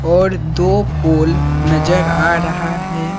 और दो पोल नजर आ रहा है।